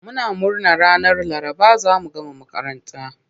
Muna murna ranar Laraba za mu gama makaranta.